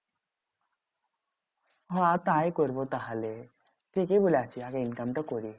হ্যাঁ তাই করবো তাহলে। ঠিকই বলেছিস আর income টা করি।